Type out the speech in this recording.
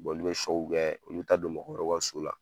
olu bɛ kɛ olu bɛ taa don mɔgɔ wɛrɛw ka so la.